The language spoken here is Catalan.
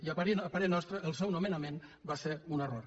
i a parer nostre el seu nomenament va ser un error